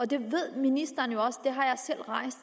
det ved ministeren jo også det har jeg